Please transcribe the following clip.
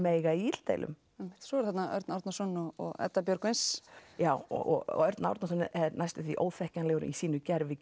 eiga í illdeilum einmitt svo er þarna Örn Árnason og Edda Björgvins já og Örn Árnason er næstum því óþekkjanlegur í sínu gervi